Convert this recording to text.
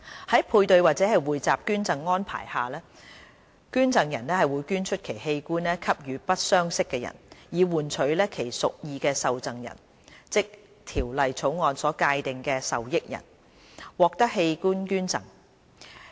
在配對或匯集捐贈安排下，捐贈人會捐出其器官給予不相識的人，以換取其屬意的受贈人，即《條例草案》所界定的"受益人"，獲得器官捐贈。